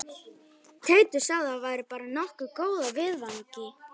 Teitur sagði að væri bara nokkuð góð af viðvaningi